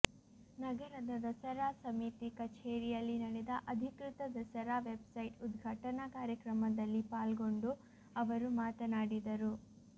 ನಗರದ ದಸರಾ ಸಮಿತಿ ಕಛೇರಿಯಲ್ಲಿ ನಡೆದ ಅಧಿಕೃತ ದಸರಾ ವೆಬ್ಸೈಟ್ ಉದ್ಘಾಟನಾ ಕಾರ್ಯಕ್ರಮದಲ್ಲಿ ಪಾಲ್ಗೊಂಡು ಅವರು ಮಾತನಾಡಿದರು